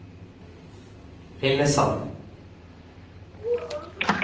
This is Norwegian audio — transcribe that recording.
Lillesand